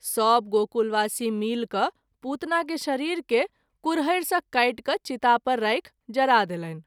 सभ गोकुलवासी मिलि क’ पुतना के शरीर केँ कुरहरि सँ काटि क’ चिता पर राखि जरा देलनि।